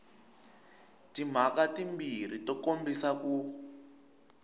timhaka timbirhi to kombisa ku